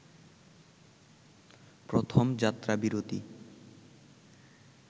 প্রথম যাত্রাবিরতি